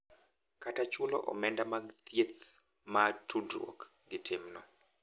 Kata chulo omenda mag thieth ma tudruok gi timno.